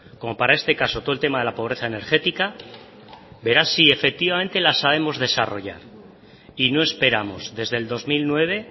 como para este caso todo el tema de la pobreza energética verá si efectivamente la sabemos desarrollar y no esperamos desde el dos mil nueve